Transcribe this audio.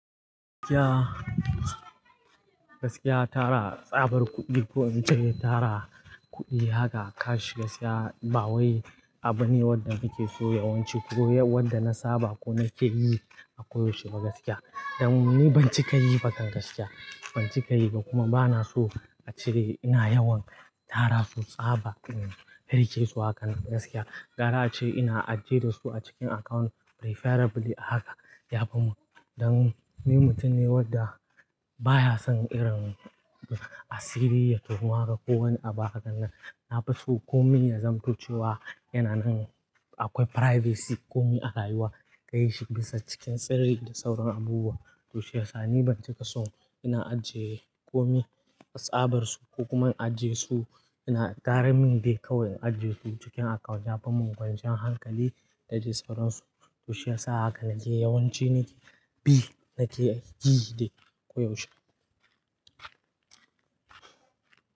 Gaskiya, gaskiya tara tsabar kuɗi ko in ce tara kuɗi haka cash gaskiya ba wai abu ne wanda nake so yawanci ko wanda na saba ko na ke yi a koyaushe ba gaskiya. Dan ni ban cika yi bakan gaskiya, ban cika yi ba kuma bana so a ce ina yawan tara su tsaba in riƙe su hakanan gaskiya. Ƙara ace ina ajiye da su a cikin account preferably a haka yafi mun Dan ni mutum ne wanda baya son irin asiri ya tonu haka ko wani abu hakan nan. Na fi so komai ya zamto cewa yana nan akwai privacy komai arayuwa ka yi shi bisa cikin sirri da sauran abubuwa. Toshi yasa ni ban cika so ina ajiye komai tsabar su ko kuma in ajiye su ina ƙarin min dai kawai in ajiye su cikin account yafi mun ƙwanciyan hankali dadai sauran su. Toshe yasa haka nake yawanci ni biy nake yi dai koyaushe.